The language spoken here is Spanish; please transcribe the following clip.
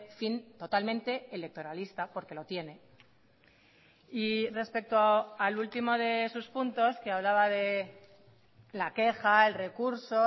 fin totalmente electoralista porque lo tiene y respecto al último de sus puntos que hablaba de la queja el recurso